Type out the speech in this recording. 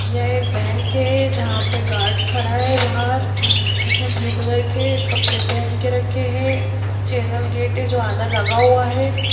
यह एक बैंक है जहाँ पे गार्ड खड़ा है बाहर जिसने ब्लू कलर के कपड़े पहन के रखे हैं चैनल गेट है जो आधा लगा हुआ है।